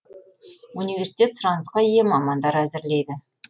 университет сұранысқа ие мамандар әзірлейді